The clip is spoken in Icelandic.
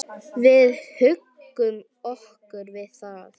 Við huggum okkur við það.